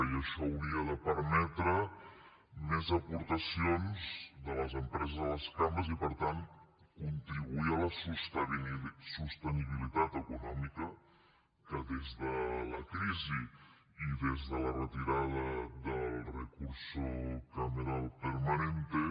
i això hauria de permetre més aportacions de les empreses a les cambres i per tant contribuir a la sostenibilitat econòmica que des de la crisi i des de la retirada del recurso cameral permanente